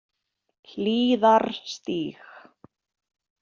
Hlíðarstíg